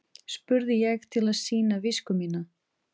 spurði ég til að sýna visku mína.